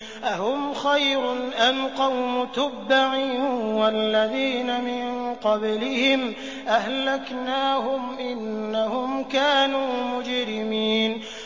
أَهُمْ خَيْرٌ أَمْ قَوْمُ تُبَّعٍ وَالَّذِينَ مِن قَبْلِهِمْ ۚ أَهْلَكْنَاهُمْ ۖ إِنَّهُمْ كَانُوا مُجْرِمِينَ